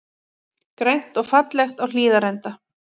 Grænt og fallegt á Hlíðarenda